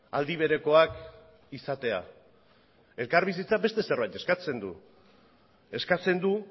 aldi berekoak izatea elkarbizitzak beste zerbait eskatzen du eskatzen du